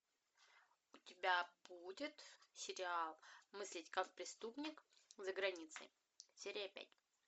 у тебя будет сериал мыслить как преступник за границей серия пять